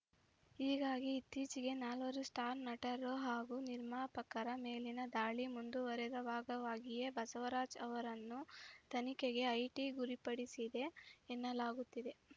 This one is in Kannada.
ಹೀಗಾಗಿ ಇತ್ತೀಚಿಗೆ ನಾಲ್ವರು ಸ್ಟಾರ್‌ ನಟರು ಹಾಗೂ ನಿರ್ಮಾಪಕರ ಮೇಲಿನ ದಾಳಿ ಮುಂದುವರೆದ ಭಾಗವಾಗಿಯೇ ಬಸವರಾಜ್‌ ಅವರನ್ನು ತನಿಖೆಗೆ ಐಟಿ ಗುರಿಪಡಿಸಿದೆ ಎನ್ನಲಾಗುತ್ತಿದೆ